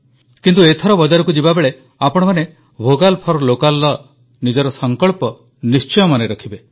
କିନ୍ତୁ ଏଥର ବଜାରକୁ ଯିବାବେଳେ ଆପଣମାନେ ଭୋକାଲ ଫର ଲୋକାଲର ନିଜର ସଂକଳ୍ପ ନିଶ୍ଚୟ ମନେରଖିବେ